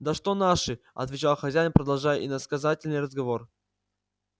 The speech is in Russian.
да что наши отвечал хозяин продолжая иносказательный разговор